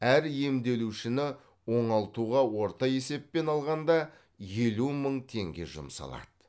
әр емделушіні оңалтуға орта есеппен алғанда елу мың теңге жұмсалады